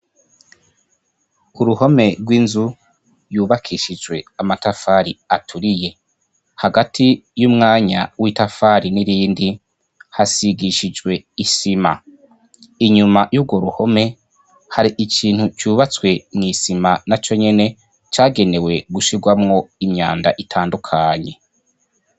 K'uruhome rw'inzu yubakishije amatafari aturiye, hagati yumwanya w'itafari n'irindi hasigishijwe isima, inyuma y'urwo ruhome hari ikintu cubatswe n'isima naco nyene cagenewe gushirwamwo imyanda itandukanye.